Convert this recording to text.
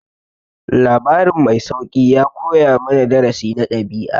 Labarin mai sauƙi ya koya mana darasi na ɗabi'a.